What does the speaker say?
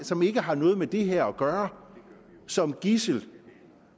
som ikke har noget med det her at gøre som gidsel